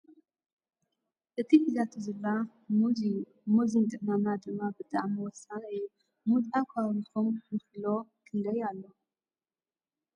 እቲ ሒዛቶ ዘላ ሙዝ እዮ ። ሙዝ ንጥዕናና ድማ ብጣዕሚ ወሳኒ እዩ ። ሙዝ ኣብ ካባቢኩም ንኪሎ ክንደይ ኣሎ ?